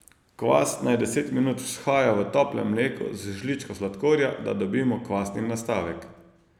Kvas naj deset minut vzhaja v toplem mleku z žličko sladkorja, da dobimo kvasni nastavek.